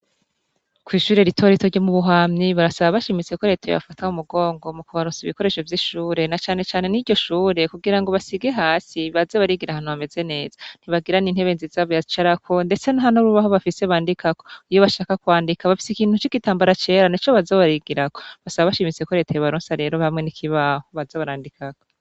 Kw'ishuri eritorito ryo mubuhamyi barasaba bashimiseko reteye bafatahu mugongo mu kubanusa ibikoresho vy'ishure na canecane n'iryo shure kugira ngo basige hasi baze barigira hanu bameze neza ntibagiran' intebe nziza byac arako, ndetse ntano rubaho bafise bandikak iyo bashaka kwandika bafise ikintu c'igitambara cera ni co bazabarigirako basa bashimiseko reteye baronsa rero hamwe nikibaho bazabarandikako.